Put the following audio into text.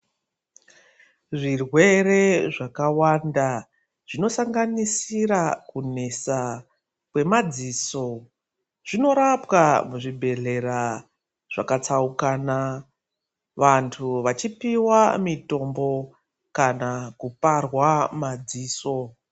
Zvirwere zvakawanda zvinosanganisira kunesa kwemadziso zvinorapwa muzvibhedhlera zvakatsaukana. Vantu vachipiva mitombo kana kuparwa madziso.